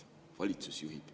Valitsus juhib.